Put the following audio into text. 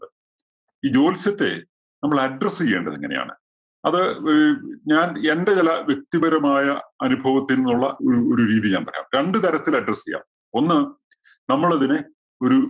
ഈ ജ്യോത്സ്യത്തെ നമ്മള് address ചെയ്യേണ്ടത് എങ്ങനെയാണ്. അത് ആഹ് ഞാൻ എന്റെ ചില വ്യക്തിപരമായ അനുഭവത്തിൽ നിന്നുള്ള ഒരു ഒരു രീതി ഞാൻ പറയാം. രണ്ടുതരത്തിൽ address ചെയ്യാം. ഒന്ന് നമ്മൾ അതിനെ ഒരു